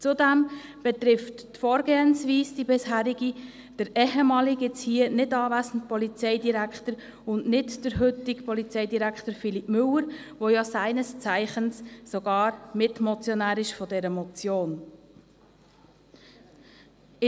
Zudem betrifft die bisherige Vorgehensweise den ehemaligen, heute nicht anwesenden Polizeidirektor und nicht den heutigen Polizeidirektor Philippe Müller, der seines Zeichens gar Mitmotionär dieser Motion war.